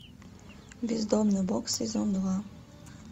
бездомный бог сезон два